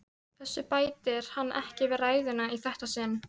Þessu bætir hann ekki við ræðuna í þetta sinn.